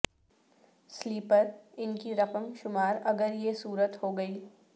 sleeper ان کی رقم شمار اگر یہ صورت ہو گی